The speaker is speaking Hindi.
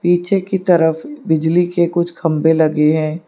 पीछे की तरफ बिजली के कुछ खंबे लगे हैं।